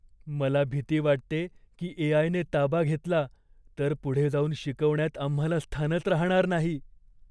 मला भीती वाटते की ए.आय.ने ताबा घेतला तर पुढे जाऊन शिकवण्यात आम्हाला स्थानच राहणार नाही.